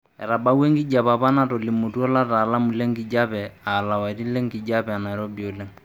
Etabawua enkijiepe apa natolimutuo lataalamu lenkijiepe aa lapaiti lenkijiepe nairobi oleng.